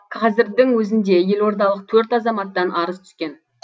қазірдің өзінде елордалық төрт азаматтан арыз түскен